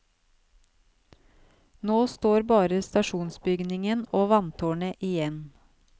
Nå står bare stasjonsbygningen og vanntårnet igjen.